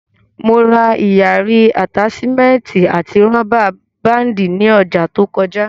Mo ra ìyarí, àtáṣímẹ́ẹ̀tì àti rọ́bà báàndì ní ọjà to kọjá